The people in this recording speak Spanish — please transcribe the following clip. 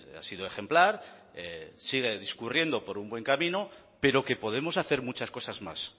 ha sido ejemplar sigue discurriendo pro un buen camino pero que podemos hacer muchas cosas más